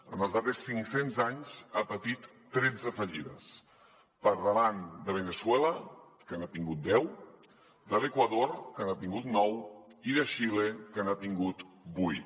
en els darrers cinc cents anys ha patit tretze fallides per davant de veneçuela que n’ha tingut deu de l’equador que n’ha tingut nou i de xile que n’ha tingut vuit